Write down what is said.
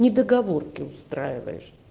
недоговорки устраивает